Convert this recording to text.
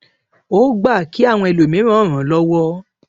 ó gba kí àwọn ẹlòmíràn ràn án lọwọ